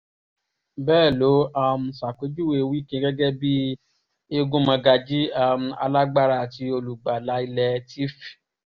bẹ́ẹ̀ ló um ṣàpèjúwe wike gẹ́gẹ́ bíi egunmọ̀gànjì um alágbára àti olùgbàlà ilẹ̀ tiv